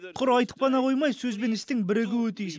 құр айтып ғана қоймай сөз бен істің бірігуі тиіс